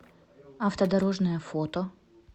автодорожная фото